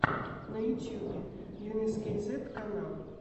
на ютьюбе йунесскейзет канал